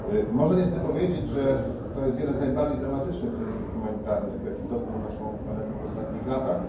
Można niestety powiedzieć, że jest to jeden z najbardziej dramatycznych kryzysów humanitarnych, jaki dotknął naszą planetę w ostatnich latach.